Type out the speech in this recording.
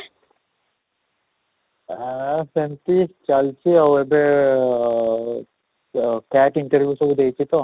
ଆଃ ସେମିତି ଚାଲିଛି ଆଉ ଏବେ interview ସବୁ ଦେଇଛି ତ